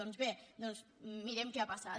doncs bé mirem què ha passat